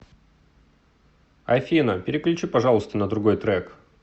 афина переключи пожалуйста на другой трек